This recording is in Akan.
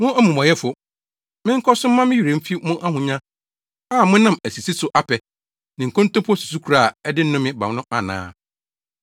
Mo amumɔyɛfo, menkɔ so mma me werɛ mfi mo ahonya a monam asisi so apɛ, ne nkontompo susukoraa a ɛde nnome ba no ana?